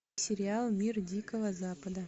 сериал мир дикого запада